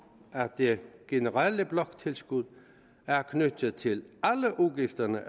at det generelle bloktilskud er knyttet til alle udgifterne